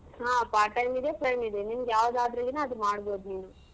ಹ part time ಇದೆ ಇದೆ ನಿನಿಗ್ ಯಾವ್ದ್ ಆದ್ರೆನ ಅದ್ ಮಾಡ್ಬೋದ್ ನೀನು.